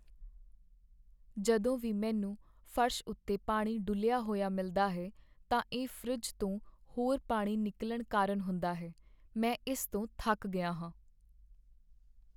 ਜਦੋਂ ਵੀ ਮੈਨੂੰ ਫਰਸ਼ ਉੱਤੇ ਪਾਣੀ ਡੁੱਲਿਆ ਹੋਇਆ ਮਿਲਦਾ ਹੈ, ਤਾਂ ਇਹ ਫਰਿੱਜ ਤੋਂ ਹੋਰ ਪਾਣੀ ਨਿਕਲਣ ਕਾਰਨ ਹੁੰਦਾ ਹੈ। ਮੈਂ ਇਸ ਤੋਂ ਥੱਕ ਗਿਆ ਹਾਂ।